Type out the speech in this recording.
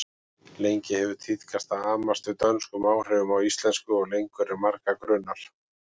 Lengi hefur tíðkast að amast við dönskum áhrifum á íslensku og lengur en marga grunar.